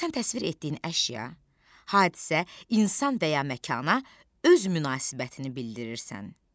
Burda sən təsvir etdiyin əşya, hadisə, insan və ya məkana öz münasibətini bildirirsən.